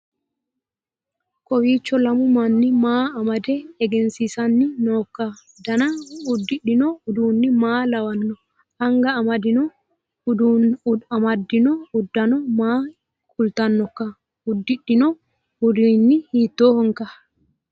kowiicho lamu manni maa amdde egensiissanni nooikka dana uddidhino uduunni maa lawanno anga amaddino uddano maa kultannoikka uddidhino uduunni hiittoohoikka